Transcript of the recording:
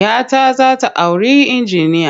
Ya ta za ta auri injiniya.